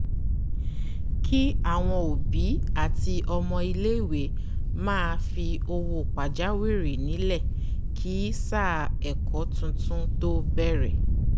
kí àwọn òbí àti ọmọ ilé - ìwé máa fi owó pàjá wìrì nílẹ̀ kí sáà ẹ̀kó titun tó bẹ́rẹ̀